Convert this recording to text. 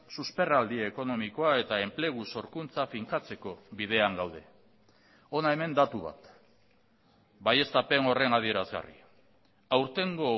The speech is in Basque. susperraldi ekonomikoa eta enplegu sorkuntza finkatzeko bidean gaude hona hemen datu bat baieztapen horren adierazgarri aurtengo